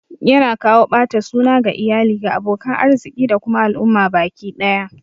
Yana kawo ɓata suna ga iyali, ga abokan arziki da kuma al'umma baki ɗaya